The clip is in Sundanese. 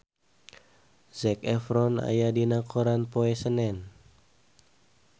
Zac Efron aya dina koran poe Senen